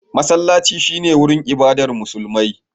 Masallaci shi ne wurin ibadar Musulmi.